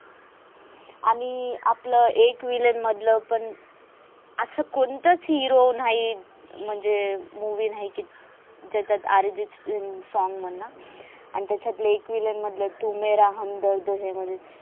आणि आपल एक विलन मधलं पण अस कोणताच hero नाही. म्हणजे movie नाही की ज्याचात अर्जित सिंग न song मनल. आणि त्याच्यातल एकविलियन मधल तू मेरा हमदर्द है